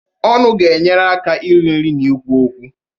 Ọnụ ga-enyere aka iri nri na ikwu okwu.